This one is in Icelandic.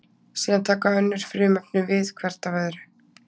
Síðan taka önnur frumefni við hvert af öðru.